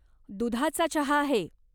दुधाचा चहा आहे.